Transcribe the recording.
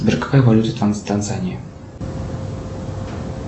сбер какая валюта в танзании